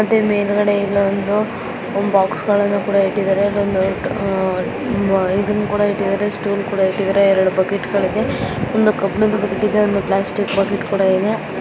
ಮತ್ತೆ ಮೇಲ್ಗಡೆ ಇಲ್ಲೊಂದು ಬಾಕ್ಸ್ ಗಳನ್ನ ಕೂಡ ಇಟ್ಟಿದರೆ ಆ --ಬ --ಇದರ್ ಇದನ್ನ್ ಕೂಡ ಇಟ್ಟಿದರೆ ಸ್ಟೂಲ್ಕೂಡ ಇಟ್ಟಿದರೆ ಬಕೆಟ್ಗ ಳು ಇದೆ ಒಂದು ಕಬ್ಬಿಣದ ಬಗ್ ಇದೆ ಪ್ಲಾಸ್ಟಿಕ್ ಬಕೆಟ್ಕೂಡ ಇದೆ.